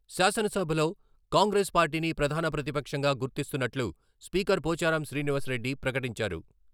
శాసనసభలో కాంగ్రెస్ పార్టీని ప్రధాన ప్రతిపక్షంగా గుర్తిస్తున్నట్లు స్పీకర్ పోచారం శ్రీనివాస్ రెడ్డి ప్రకటించారు.